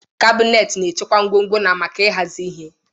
Kabinet na-echekwa ngwongwo na maka ịhazi ihe.